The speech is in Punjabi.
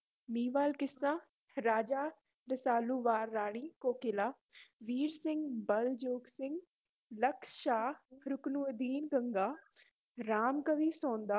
ਮਹੀਂਵਾਲ, ਕਿੱਸਾ ਰਾਜਾ ਰਸਾਲੂ, ਵਾਰ ਰਾਣੀ ਕੋਕਿਲਾ ਵੀਰ ਸਿੰਘ, ਬੱਲ ਜੋਗ ਸਿੰਘ, ਲਖ ਸ਼ਾਹ ਰਕੁਨਉਦੀਨ ਗੰਗਾ, ਰਾਮ ਕਵੀ ਸੌਂਧਾ